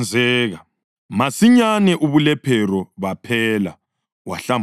Masinyane ubulephero baphela, wahlambuluka.